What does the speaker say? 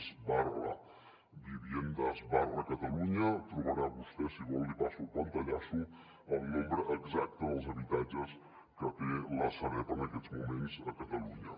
es viviendas cataluña hi trobarà vostè si vol li passo el pantallasso el nombre exacte dels habitatges que té la sareb en aquests moments a catalunya